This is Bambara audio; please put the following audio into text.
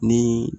Ni